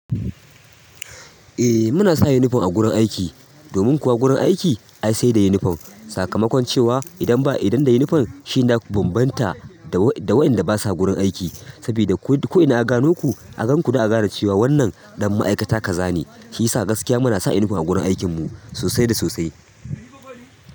Eh muna sa yunifom a gurin aiki. Domin kuwa gurin aiki ai sai da yunifom. Sakamakon cewa idan ba idan da yunifom shine daku bambanta da wainda basa gurin aiki. Sabida ko ina aka gano ku, a gan ku za a gane cewa wannan ɗan ma'aikata kaza ne. Shiyisa gaskiya muna sa yunifom a gurin aikin mu sosai da sosai.